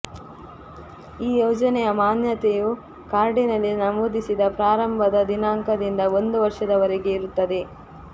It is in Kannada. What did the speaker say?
ಈ ಯೋಜನೆಯ ಮಾನ್ಯತೆಯು ಕಾರ್ಡಿನಲ್ಲಿ ನಮೂದಿಸಿದ ಪ್ರಾರಂಭದ ದಿನಾಂಕದಿಂದ ಒಂದು ವರ್ಷದವರೆಗೆ ಇರುತ್ತದೆ